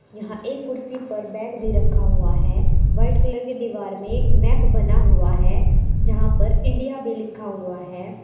यहां एक कुर्सी पर बैग भी रखा हुआ है वाइट कलर की दीवार में एक मैप बना हुआ है जहां पर इंडिया भी लिखा हुआ है।